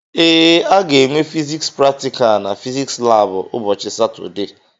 Ee, a ga-enwe fiziks praktikal na fiziks labụ ụbọchị Satọdee